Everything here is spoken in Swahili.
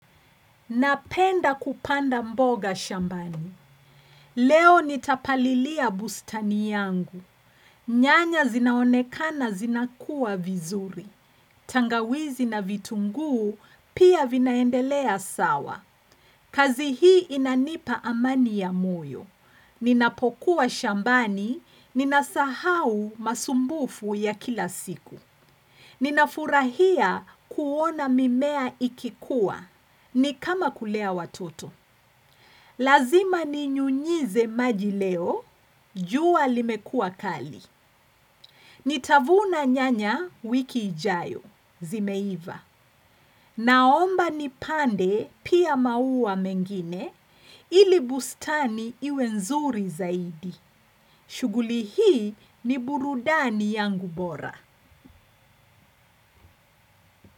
Napenda kupanda mboga shambani. Leo nitapalilia bustani yangu. Nyanya zinaonekana zinakua vizuri. Tangawizi na vitunguu pia vinaendelea sawa. Kazi hii inanipa amani ya moyo. Ninapokuwa shambani, ninasahau masumbufu ya kila siku. Ninafurahia kuona mimea ikikua. Ni kama kulea watoto. Lazima ni nyunyize majileo, juwa limekua kali. Nitavuna nyanya wiki ijayo, zimeiva. Naomba ni pande pia maua mengine, ili bustani iwe nzuri zaidi. Shuguli hii ni burudani yangu bora.